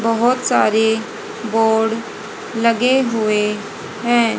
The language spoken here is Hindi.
बहोत सारे बोर्ड लगे हुए हैं।